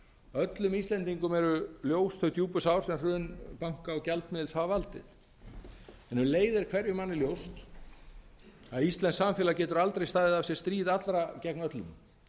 öllum íslendingum eru ljós þau djúpu sár sem hrun banka og gjaldmiðils hafa valdið en um leið er hverjum manni ljóst að íslenskt samfélag getur aldrei staðið af sér stríð allra gegn öllum